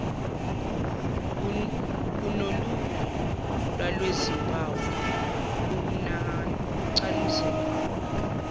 unolunye lwalezimpawu ukucanuzela